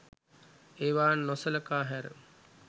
ඒවා නොසලකා හැර